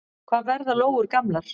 Hvað verða lóur gamlar?